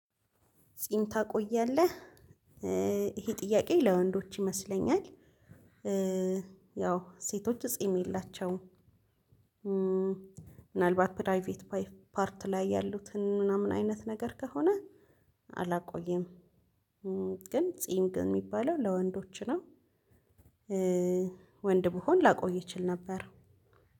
ጺም ታቆያለህ ይሄ ጥያቄ ለወንዶች ይመስለኛል። ያው ሴቶች ጺም የላቸውም። ምናልባት ፕራይቬት ፓርት ላይ ያሉትን ምናምን አይነት ነገር ከሆነ። አላቆየም። ግን ጺም ግን የሚባለው ለወንዶች ነው። ወንድ ብሆን ላቆይ እችል ነበር